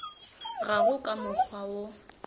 ga go ka mokgwa wo